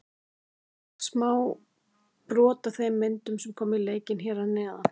Sjá má brot af þeim myndum sem koma í leikinn hér að neðan.